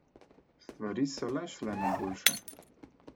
Stvari so le šle na boljše.